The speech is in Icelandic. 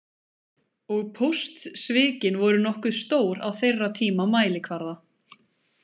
Og póstsvikin voru nokkuð stór á þeirra tíma mælikvarða.